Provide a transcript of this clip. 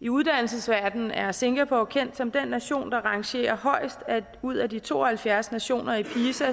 i uddannelsesverdenen er singapore kendt som den nation der rangerer højest ud af de to og halvfjerds nationer i pisa